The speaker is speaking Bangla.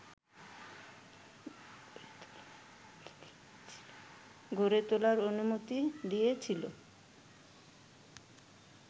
গড়ে তোলার অনুমতি দিয়েছিল